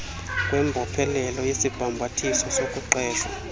kwembophelelo yesibhambathiso sokuqeshwa